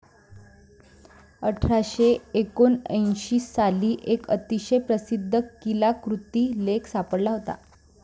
अठराशे एकोणऐंशी साली, एक अतिशय प्रसिद्ध कीलाकृती लेख सापडला होता.